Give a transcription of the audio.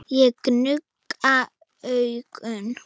Ég nugga augun.